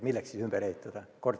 Milleks need ümber ehitada?